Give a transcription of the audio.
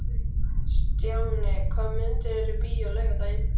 Stjáni, hvaða myndir eru í bíó á laugardaginn?